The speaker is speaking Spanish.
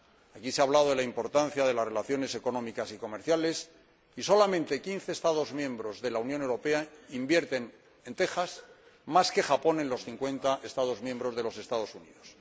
Aquí se ha hablado de la importancia de las relaciones económicas y comerciales y solamente quince Estados miembros de la Unión Europea invierten en Texas más que Japón en los cincuenta Estados de los Estados Unidos.